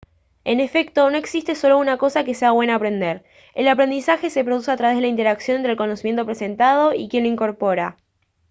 en efecto no existe solo una cosa que sea bueno aprender el aprendizaje se produce a través de la interacción entre el conocimiento presentado y quien lo incorpora